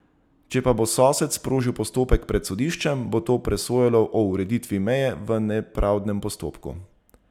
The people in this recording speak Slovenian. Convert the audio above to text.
Če pa bo sosed sprožil postopek pred sodiščem, bo to presojalo o ureditvi meje v nepravdnem postopku.